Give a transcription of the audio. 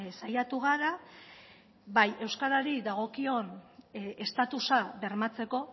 saiatu gara bai euskarari dagokion estatusa bermatzeko